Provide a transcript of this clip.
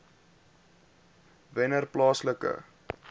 wennerplaaslike